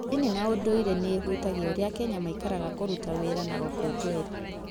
Ndini na ũndũire nĩ ihutagia ũrĩa Akenya maikaraga, kũruta wĩra na gũkũngũĩra.